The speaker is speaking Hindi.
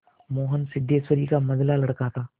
मोहन सिद्धेश्वरी का मंझला लड़का था